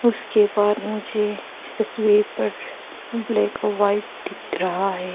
उसके बाद मुझे इस तस्वीर पर ब्लैक और व्हाइट दिख रहा है।